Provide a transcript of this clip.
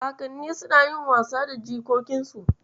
Kakanni suna yin wasa da jikokinsu.